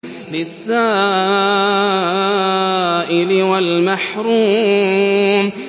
لِّلسَّائِلِ وَالْمَحْرُومِ